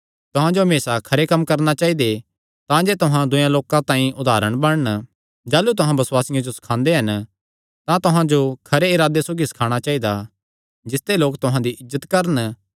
तुहां जो हमेसा खरे कम्म करणा चाइदा तांजे तुहां दूयेयां लोकां तांई उदारण बणन जाह़लू तुहां बसुआसियां जो सखांदे हन तां तुहां जो खरे इरादे सौगी सखाणा चाइदा जिसते लोक तुहां दी इज्जत करन